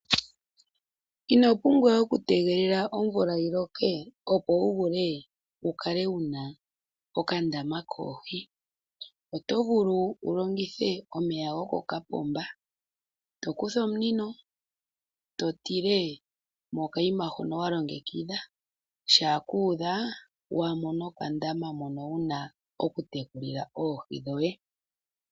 Ino pumbwa okutegelela omvula yi loke wu kale wu na okandama koohi oto vulu wu longithe omeya gokokapomba to kutha omunino e to tile mokayima hoka wa longekidha uuna kuudha owa mona okandama moka wu na okutekulila oohi dhoye.